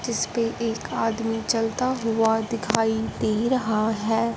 जिसपे एक आदमी चलता हुआ दिखाई दे रहा है।